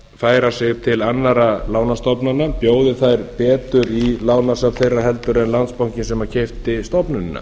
færa sig til annarra lánastofnana bjóði þær betur í lánasjóð þeirra heldur en landsbankinn sem keypti stofnunina